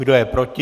Kdo je proti?